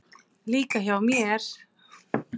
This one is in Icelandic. Líka hjá mér.